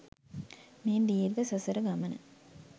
මේ දීර්ඝ සසර ගමන